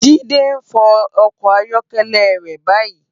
Jide n fò òkò áyòkèlè rè bàyí